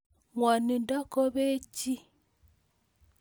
Ng'wonindo kopee chii